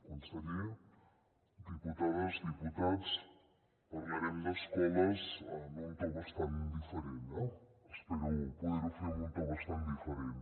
conseller diputades diputats parlarem d’escoles en un to bastant diferent eh espero poder ho fer amb un to bastant diferent